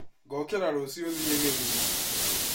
Ngokĩra rũciũ thiĩ Gĩthumo